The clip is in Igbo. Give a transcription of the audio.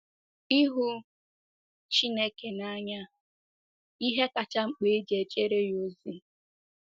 Ịhụ Chineke n’anya—Ihe kacha mkpa e ji ejere ya ozi.